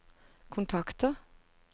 kontakter